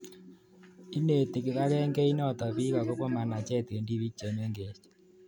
Ineti kipakengeit notok piik akopo manachet eng' tipik che mengech